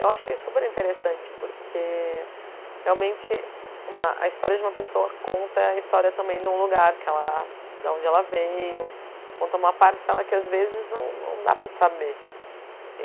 Eu achei super interessante porque, realmente, uma a história de uma pessoa conta a história também de um lugar que ela, de onde ela veio, conta uma parcela que, às vezes, não não dá para saber.